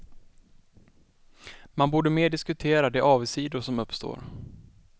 Man borde mer diskutera de avigsidor som uppstår.